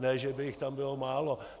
Ne že by jich tam bylo málo.